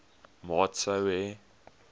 maat sou hê